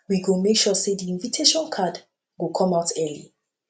we go make sure sey di invitation card go come out early